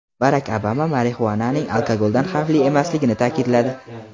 Barak Obama marixuananing alkogoldan xavfli emasligini ta’kidladi.